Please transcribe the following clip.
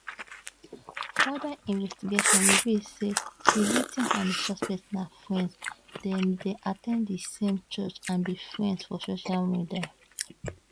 further investigation reveal say di victim and di suspect na friends dem dey at ten d di same church and be friends for social media